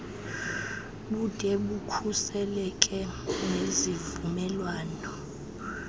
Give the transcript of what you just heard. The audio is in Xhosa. bude bukhuseleke nezivumelwano